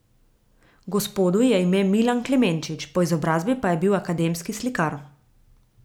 Gospodu je ime Milan Klemenčič, po izobrazbi pa je bil akademski slikar.